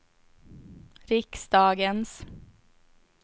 riksdagens